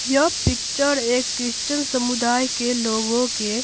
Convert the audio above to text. यह पिक्चर एक क्रिश्चियन समुदाय के लोगों के--